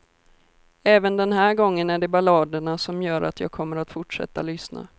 Även den här gången är det balladerna som gör att jag kommer att fortsätta lyssna.